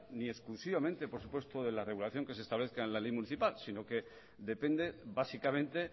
ni exclusivamente por supuesto de la regulación que se establezca en la ley municipal sino que depende básicamente